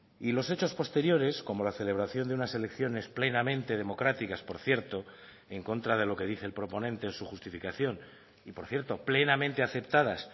y los hechos posteriores como la celebración de unas elecciones plenamente democráticas por cierto en contra de lo que dice el proponente en su justificación y por cierto plenamente aceptadas